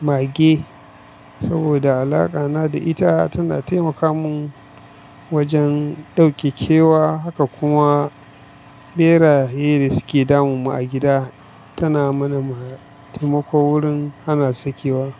mage saboda alaƙa na da ita tana taimaka mun wajen ɗauke kewa haka kuma ɓeraye da suke damun mu a gida tana mana ma taimako wurin hana sakewa.